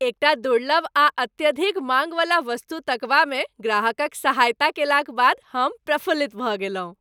एकटा दुर्लभ आ अत्यधिक माङ्गवला वस्तु तकबामे ग्राहकक सहायता कएलाक बाद हम प्रफुल्लित भऽ गेलहुँ।